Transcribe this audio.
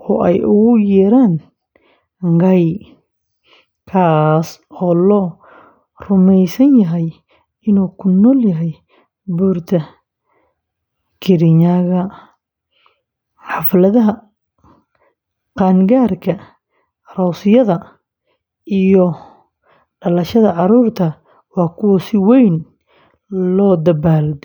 oo ay ugu yeeraan “Ngai,” kaas oo la rumeysan yahay inuu ku nool yahay buurta Kirinyaga. Xafladaha qaan-gaarka, aroosyada, iyo dhalashada carruurta waa kuwo si weyn loo dabaaldego.